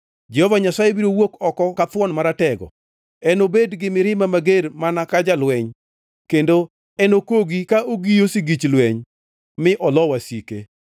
Jehova Nyasaye biro wuok oko ka thuon maratego, enobed gi mirima mager mana ka jalweny; kendo enokogi ka ogiyo sigich lweny, mi olo wasike.